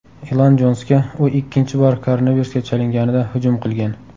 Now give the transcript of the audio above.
Ilon Jonsga u ikkinchi bor koronavirusga chalinganida hujum qilgan.